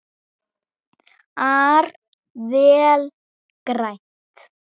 ar vel grænt.